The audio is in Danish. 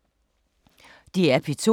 DR P2